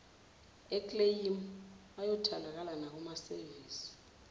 ekleyimu ayatholakala nakumasevisi